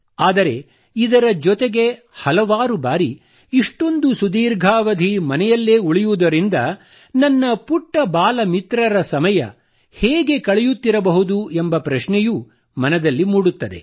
ಆದರೆ ಇದರ ಜೊತೆಗೆ ಹಲವಾರು ಬಾರಿ ಇಷ್ಟೊಂದು ಸುದೀರ್ಘಾವಧಿ ಮನೆಯಲ್ಲೇ ಉಳಿಯುವುದರಿದ ನನ್ನ ಪುಟ್ಟ ಬಾಲಮಿತ್ರರ ಸಮಯ ಹೇಗೆ ಕಳೆಯುತ್ತಿರಬಹುದು ಎಂಬ ಪ್ರಶ್ನೆಯೂ ಮನದಲ್ಲಿ ಮೂಡುತ್ತದೆ